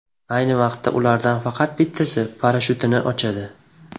Ayni vaqtda, ulardan faqat bittasi parashyutini ochadi.